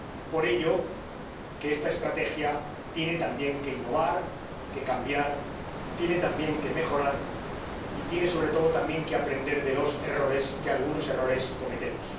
Por ello, esta estrategia tiene también que innovar y cambiar, tiene también que mejorar y tiene, sobre todo, que aprender de los errores, que algunos errores cometemos.